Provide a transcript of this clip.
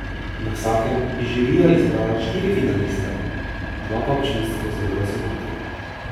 Na vsakem je žirija izbrala štiri finaliste, dva pa občinstvo z glasovanjem.